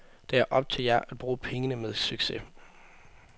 Det er op til jer at bruge pengene med succes.